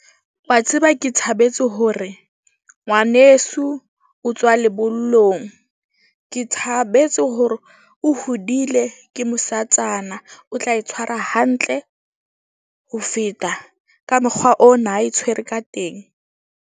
Wa tseba ke thabetse hore ngwaneso o tswa lebollong. Ke thabetse hore o hodile ke mosatsana o tla e tshwara hantle ho feta ka mokgwa ona a e tshwere ka teng.